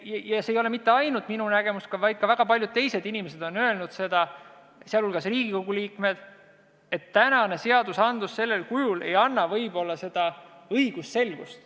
Ja see ei ole mitte ainult minu nägemus, vaid ka väga paljud teised inimesed, sh Riigikogu liikmed, on öelnud, et praegu kehtiv seadus sellisel kujul võib-olla ei anna seda õigusselgust.